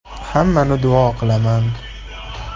Hammani duo qilaman.